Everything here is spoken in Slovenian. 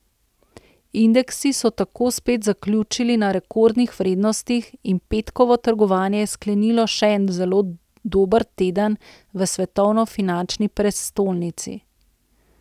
Indeksi so tako spet zaključili na rekordnih vrednostih in petkovo trgovanje je sklenilo še en zelo dober teden v svetovni finančni prestolnici.